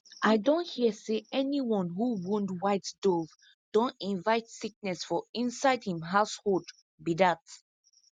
i don hear say anyone who wound white dove don invite sickness for inside hin household be dat